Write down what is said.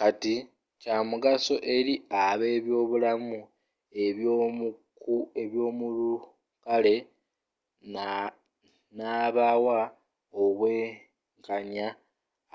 kati kyamugaso eri abebyobulamu ebyomulukale nabawa obwenkanya